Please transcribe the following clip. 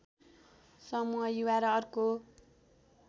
समूह युवा र अर्को